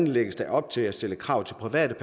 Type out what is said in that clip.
lægges der op til at stille krav til private